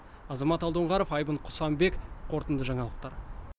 азамат алдоңғаров айбын құсанбек қорытынды жаңалықтар